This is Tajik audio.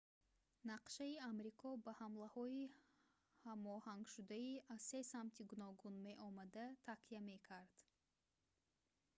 нақшаи амрико ба ҳамлаҳои ҳамоҳангшудаи аз се самти гуногун меомада такя мекард